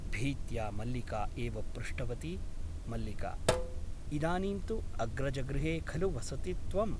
भीत्या मल्लिका एव पृष्टवती मल्लिका । इदानीं तु अग्रजगृहे खलु वससि त्वम् ?